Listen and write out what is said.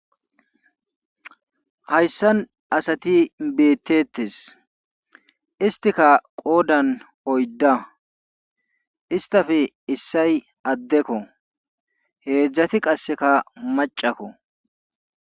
Hayssan asati betetees. istikka qoodan oydda istappe issoy addekko heedzdzati qassekka maccakko.